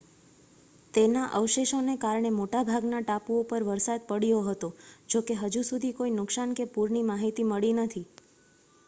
તેના અવશેષોને કારણે મોટા ભાગના ટાપુઓ પર વરસાદ પડ્યો હતો જોકે હજુ સુધી કોઈ નુકસાન કે પૂરની માહિતી મળી નથી